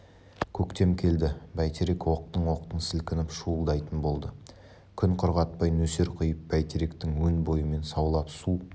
көктем келді бәйтерек оқтын-оқтын сілкініп шуылдайтын болды күн құрғатпай нөсер құйып бәйтеректің өн бойымен саулап су